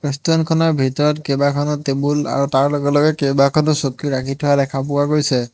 ৰেষ্টুৰেণ্টখনৰ ভিতৰত কেইবাখনো টেবুল আৰু তাৰ লগে লগে কেইবাখনো চকী ৰাখি থোৱা দেখা পোৱা গৈছে।